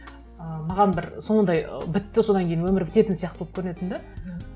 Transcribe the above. ы маған бір сондай ы бітті содан кейін өмір бітетін сияқты болып көрінетін де мхм